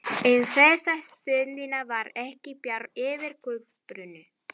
En þessa stundina var ekki bjart yfir Kolbrúnu.